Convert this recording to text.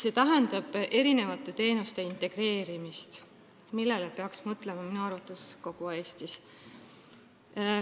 See tähendab teenuste integreerimist, millele peaks minu arvates mõtlema kogu Eestis.